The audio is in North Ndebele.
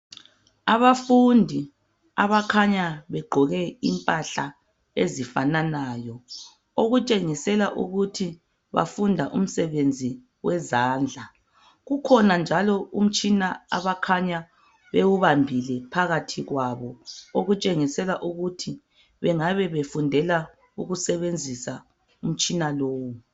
Abafundi abakhanya begqoke impahla ezifananayo. Okutshengisela ukuthi bafunda umsebenzi wezandla. Ukhona njalo umtshina, abakhanya bewubambile, phakathi kwabo. Okutshengisela ukuba, bangabe befundela, ukusebenzisa umtshina lowo.